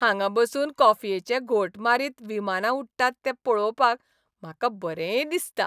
हांगा बसून कॉफयेचे घोंट मारीत विमानां उडटात तें पळोवपाक म्हाका बरें दिसता.